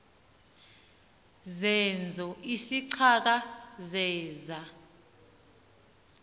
zeezo izicaka zeza